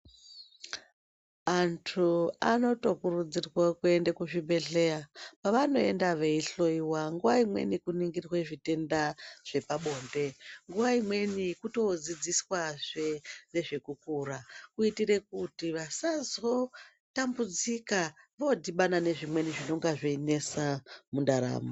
Antu anotokurudzirwa kuende kuzvibhedhleya. Pavanoenda veihloyiwa nguwa imweni kuningirwa zvitenda zvepabonde, nguwa imweni kutodzidziswazve ngezvekukura kuitire kuti vasazotambudzika vodhibana nezvimweni zvinenga zveinesa mundaramo.